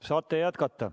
Saate jätkata.